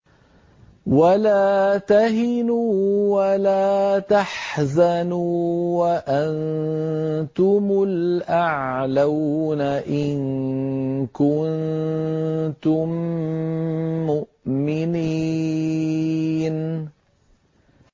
وَلَا تَهِنُوا وَلَا تَحْزَنُوا وَأَنتُمُ الْأَعْلَوْنَ إِن كُنتُم مُّؤْمِنِينَ